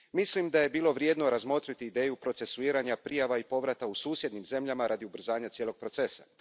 Mislim da je bilo vrijedno razmotriti ideju procesuiranja prijava i povrata u susjednim zemljama radi ubrzanja cijelog procesa.